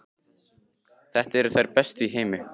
Þetta eru þær bestu í heimi!